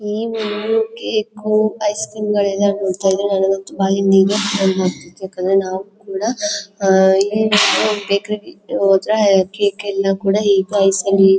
evening cake ice cream ಗಳೆಲ್ಲಾ ನೋಡ್ತಾ ಇದ್ರೆ ನನಿಗಂತೂ ಬಾಯಿಗೆ ನೀರು ಯಾಕಂದ್ರೆ ನಾವು ಕೂಡ ಈವೆನಿಂಗ್ ಬೇಕರಿ ಲಿ ಹೋದ್ರೆ ಕೇಕ ಎಲ್ಲ ಕೂಡ